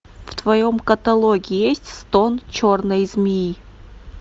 в твоем каталоге есть стон черной змеи